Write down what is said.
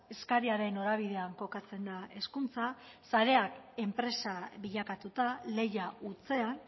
eskariaren norabidean kokatzen da hezkuntza sarea enpresa bilakatuta lehia hutsean